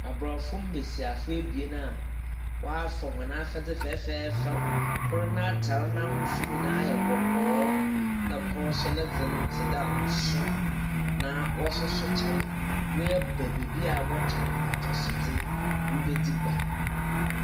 Aborɔfo mbasiafo ebien a wɔafa hɔn afadze fɛfɛɛfɛw, kor n’atar n’ahosu nyina yɛ kɔkɔɔ, na kor so ne dze no tse dɛ nson, na wɔsoasoa kyɛw. Wɔaba beebi a wɔtɔn atɔsodze ribedzi gua.